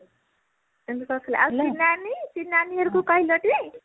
ଆଉ ଶିଲା ନାନୀ ଶିଲା ନାନୀ ଘରକୁ କହିଲ ଟି